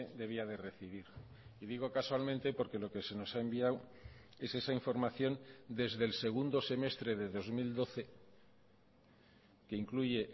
debía de recibir y digo casualmente porque lo que se nos ha enviado es esa información desde el segundo semestre de dos mil doce que incluye